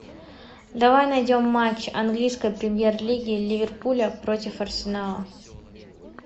давай найдем матч английской премьер лиги ливерпуля против арсенала